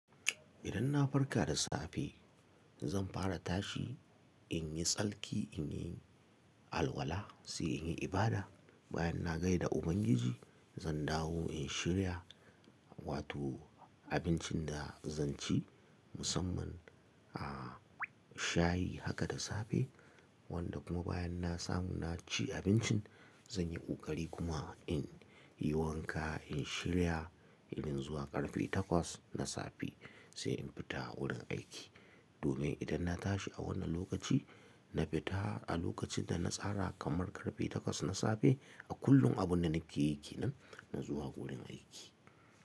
Idan na farka da safe zan fara tashi in yi tsarki, in yi alwala sai in yi ibada. Bayan na gaida Ubangiji zan dawo in shirya wato, abincin da zan ci masumman, a, shayi haka da safe wanda kuma bayan na samu na ci abincin zan yi ƙoƙari kuma in yi wanka, in shirya, irin zuwa ƙarfe takwas na safe sai in fita wurin aiki. Domin idan na tashi a wannan lokaci na fita a lokacin da na tsara kamar ƙarfe takwas na safe a kullum abun da nake yake nan na zuwa wurin aiki.